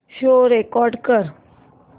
show record कर